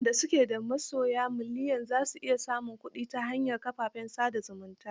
Waɗanda su ke da masoya miliyan za su iya samun kuɗi ta hanyar kafafen sa da zumunta.